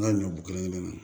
N ka ɲɔ kelen kelen